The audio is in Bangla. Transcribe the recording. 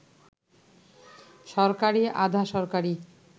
সরকারি, আধা-সরকারি